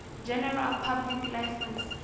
general public license